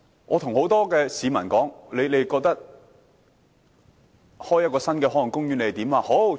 我問很多市民，他們對開設新的海岸公園有甚麼看法？